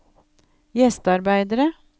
gjestearbeidere